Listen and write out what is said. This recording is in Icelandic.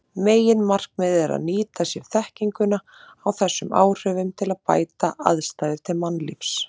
Meginmarkmiðið er að nýta sér þekkinguna á þessum áhrifum til að bæta aðstæður til mannlífs.